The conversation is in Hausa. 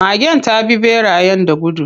Magen ta bi ɓerayen da gudu.